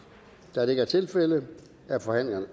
da det ikke er tilfældet er forhandlingen